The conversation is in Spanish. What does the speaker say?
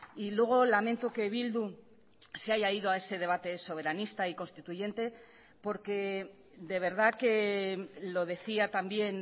y luego lamento que bildu se haya ido a ese debate soberanista y constituyente porque de verdad que lo decía también